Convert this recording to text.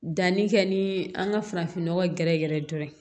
Danni kɛ ni an ka farafin nɔgɔ gɛrɛgɛrɛ ye dɔrɔn